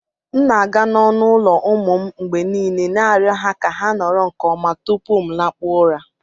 M na-aga n'ọnụ ụlọ ụmụ m mgbe niile na-arịọ ha ka ha nọrọ nke ọma tupu m lakpuo ụra